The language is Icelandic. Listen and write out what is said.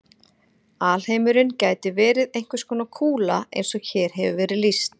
Alheimurinn gæti verið einhvers konar kúla eins og hér hefur verið lýst.